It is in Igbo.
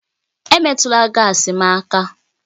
Emetụla gaasi m aka!